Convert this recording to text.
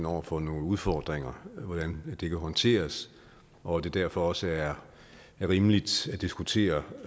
over for nogle udfordringer hvordan det kan håndteres og at det derfor også er rimeligt at diskutere